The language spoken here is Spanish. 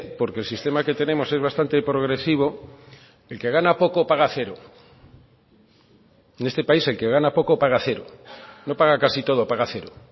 porque el sistema que tenemos es bastante progresivo el que gana poco paga cero en este país el que gana poco paga cero no paga casi todo paga cero